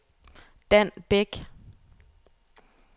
Dan Bæk